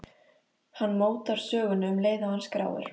Hann mótar söguna um leið og hann skráir.